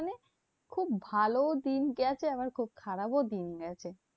খুব ভালো দিন গেছে, আবার খুব খারাপও দিন গেছে।